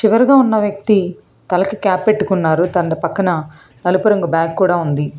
చివరుగా ఉన్న వ్యక్తి తలకు క్యాప్ పెట్టుకున్నారు తన పక్కన నలుపు రంగు బ్యాగ్ కూడా ఉంది.